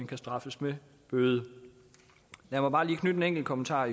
kan straffes med bøde lad mig bare lige knytte en enkelt kommentar